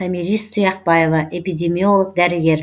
томирис тұяқбаева эпидемиолог дәрігер